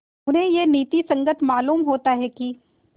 उन्हें यह नीति संगत मालूम होता है कि